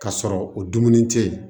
K'a sɔrɔ o dumuni tɛ yen